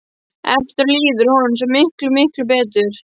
Eftir á líður honum svo miklu, miklu betur.